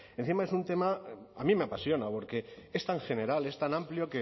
encima es un tema a mí me apasiona porque es tan general es tan amplio